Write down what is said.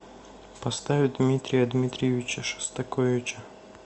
поставь дмитрия дмитриевича шостаковича